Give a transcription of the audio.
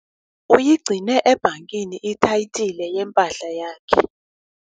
Uyigcine ebhankini ithayitile yempahla yakhe.